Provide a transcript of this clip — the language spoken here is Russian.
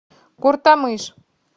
куртамыш